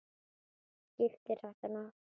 Skiptir þetta nokkru?